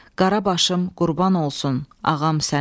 Qara başım qurban olsun, Ağam sənə.